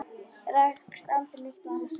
Rekst aldrei eitt á annars horn?